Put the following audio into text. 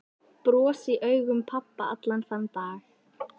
Bros í augum pabba allan þann dag.